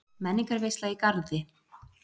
Menningarveisla í Garði